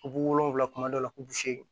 Bu wolonwula kuma dɔw la kulusi